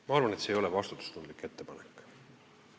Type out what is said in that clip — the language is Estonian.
Ma arvan, et see ei ole vastutustundlik ettepanek.